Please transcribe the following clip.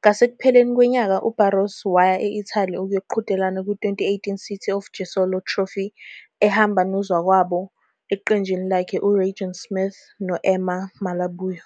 Ngasekupheleni kwenyanga uBarros waya e-Italy ukuyoqhudelana kwi- 2018 City of Jesolo Trophy ehamba nozakwabo eqenjini lakhe uRagan Smith no- Emma Malabuyo.